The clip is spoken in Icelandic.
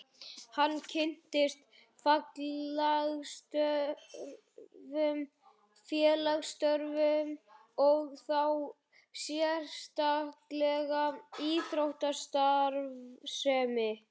Hann kynntist félagsstörfum og þá sérstaklega íþróttastarfsemi.